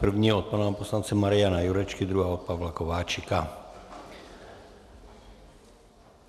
První od pana poslance Mariana Jurečky, druhá od Pavla Kováčika.